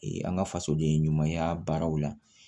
Ee an ka fasoden ɲumanya baaraw la